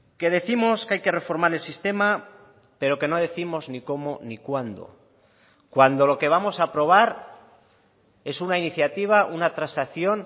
que décimos que hay que reformar el sistema pero que no décimos ni cómo ni cuándo cuando lo que vamos a aprobar es una iniciativa una transacción